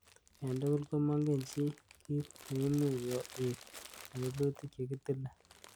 En tugul, komongen chii kit neimuch kobit en tilutik che kitile.